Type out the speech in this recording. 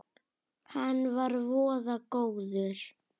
Hann var voða góður.